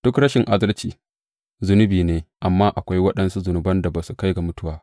Duk rashin adalci, zunubi ne, amma akwai waɗansu zunuban da ba sa kai ga mutuwa.